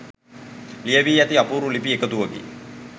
ලියැවී ඇති අපූරු ලිපි එකතුවකි